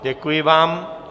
Děkuji vám.